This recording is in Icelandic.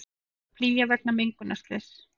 Flýja vegna mengunarslyss